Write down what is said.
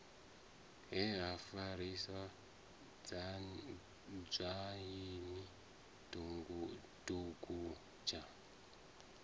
he ha farisa dzwaini dugudzha